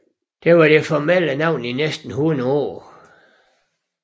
Det var det formelle navn i næsten hundrede år